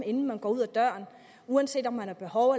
inden man går ud af døren uanset om man har behov